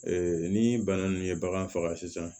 ni bana min ye bagan faga sisan